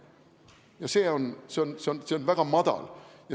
Ja see on väga madal.